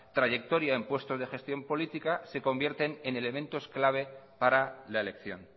trayectoria en puestos de gestión política se convierte en elementos clave para la elección